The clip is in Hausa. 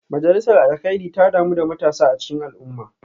Majalisar Alkairi ta damu da matasa a cikin al’umma